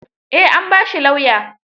Eh, an ba shi lauya.